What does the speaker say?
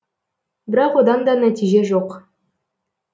бірақ одан да нәтиже жоқ